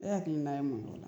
E hakilina ye mun y' ola